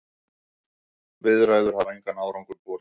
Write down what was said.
Viðræður hafa engan árangur borið.